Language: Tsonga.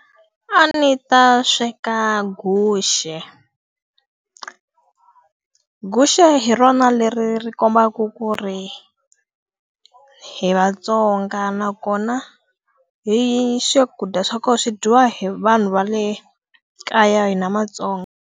A ndzi ta sweka guxe. Guxe hi rona leri ri kombaka ku ri hi vaTsonga nakona, swakudya swa kona swi dyiwa hi vanhu va le kaya hina maTsonga.